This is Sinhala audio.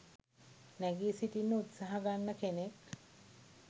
නැගී සිටින්න උත්සාහගන්න කෙනෙක්.